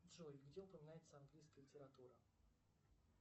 джой где упоминается английская литература